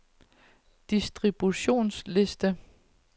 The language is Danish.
distributionsliste